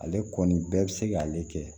Ale kɔni bɛɛ bɛ se k'ale kɛ